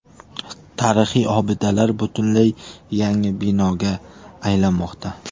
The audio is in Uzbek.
Tarixiy obidalar butunlay yangi binoga aylanmoqda.